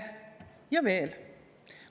Ja veel.